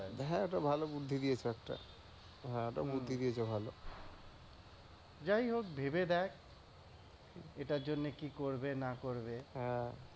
হ্যাঁ এটা ভালো বুদ্ধি দিয়েছ একটা। হ্যাঁ, এটা বুদ্ধি দিয়েছ ভালো। যাই হোক ভেবে দেখ এটার জন্যে কি করবে না করবে।